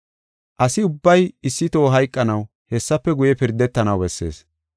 Asi ubbay issi toho hayqanaw hessafe guye pirdetanaw bessees.